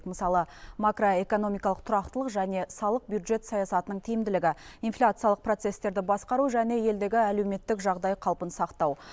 мысалы макроэкономикалық тұрақтылық және салық бюджет саясатының тиімділігі инфляциялық процестерді басқару және елдегі әлеуметтік жағдай қалпын сақтау